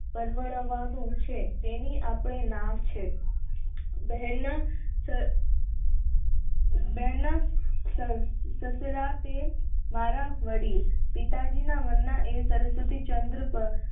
ટળવળવાનું છે તેની આપણે ના છે સસરા તે મારા વડીલ પિતાજી ના નામ ના સરસ્વતી ચંદ્ર પર